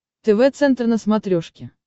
тв центр на смотрешке